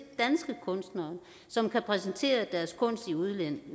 danske kunstnere som kan præsentere deres kunst i udlandet